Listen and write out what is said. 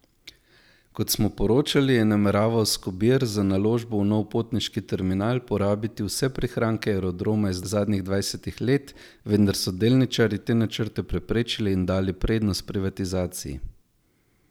Kot smo poročali, je nameraval Skobir za naložbo v nov potniški terminal porabiti vse prihranke Aerodroma iz zadnjih dvajsetih let, vendar so delničarji te načrte preprečili in dali prednost privatizaciji.